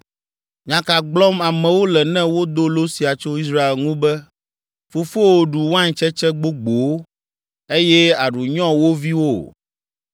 “Nya ka gblɔm amewo le ne wodo lo sia tso Israel ŋu be, “ ‘Fofowo ɖu waintsetse gbogbowo, eye aɖu nyɔ wo viwo?’ ”